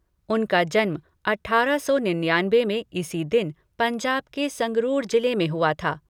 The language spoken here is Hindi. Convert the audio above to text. उनका जन्म अठारह सौ निन्यानवे में इसी दिन पंजाब के संगरूर जिले में हुआ था।